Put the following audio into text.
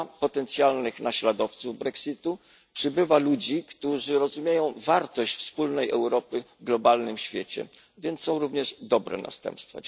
Ubywa potencjalnych naśladowców Brexitu, przybywa ludzi, którzy rozumieją wartość wspólnej Europy w globalnym świecie, więc są również dobre następstwa.